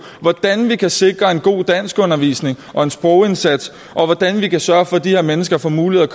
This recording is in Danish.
hvordan vi kan sikre en god danskundervisning og en sprogindsats og hvordan vi kan sørge for at de her mennesker får mulighed